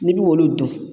N'i b'olu dun